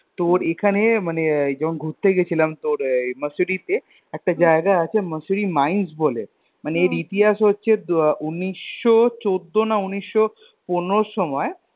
তোর এখানে মানে যখন ঘুরতে গেছিলাম তোর Mussoorie তে একটা জায়গা আছে Mussoorie Mines বলে মানে এর ইতিহাস হচ্ছে উনিশো চৌদ্দ না উনিশ পনেরোর সময়